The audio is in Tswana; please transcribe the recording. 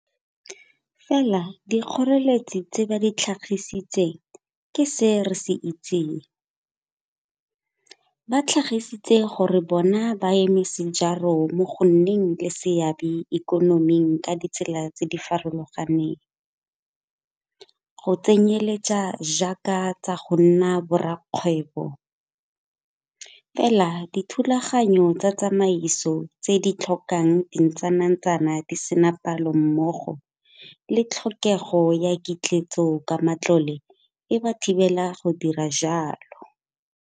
Fela dikgoreletsi tse ba di tlhagisitseng ke se re se itseng - ba tlhagisitse gore bona baeme sejaro mo go nneng le seabe mo ikonoming ka ditsela tse di farologaneng, go tsenyeletsa jaaka tsa go nna borakgwebo, fela dithulaganyo tsa tsamaiso tse di tlhokang dintsanantsana di sena palo mmogo le tlhokego ya ketleetso ka matlole e ba thibela go dira jalo.